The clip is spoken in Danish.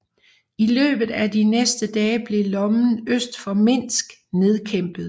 I løbet af de næste dage blev lommen øst for Minsk nedkæmpet